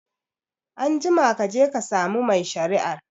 Anjima kaje ka samu mai shari'ar